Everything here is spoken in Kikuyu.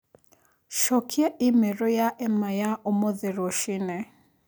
Cokia i-mīrū ya Emma ya ũmuthĩ rũcinĩ